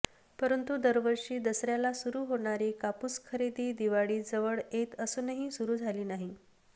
परंतु दरवर्षी दसऱ्याला सुरू होणारी कापूस खरेदी दिवाळीजवळ येत असूनही सुरू झाली नाही